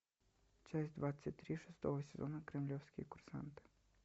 часть двадцать три шестого сезона кремлевские курсанты